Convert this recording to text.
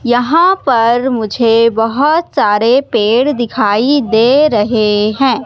यहां पर मुझे बहोत सारे पेड़ दिखाई दे रहे हैं।